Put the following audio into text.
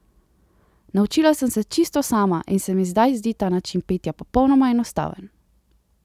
Naučila sem se čisto sama in se mi zdaj zdi ta način petja popolnoma enostaven.